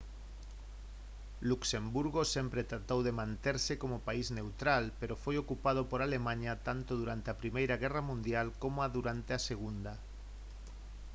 luxemburgo sempre tratou de manterse como país neutral pero foi ocupado por alemaña tanto durante a primeira guerra mundial coma durante a segunda